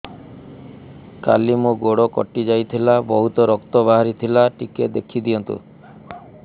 କାଲି ମୋ ଗୋଡ଼ କଟି ଯାଇଥିଲା ବହୁତ ରକ୍ତ ବାହାରି ଥିଲା ଟିକେ ଦେଖି ଦିଅନ୍ତୁ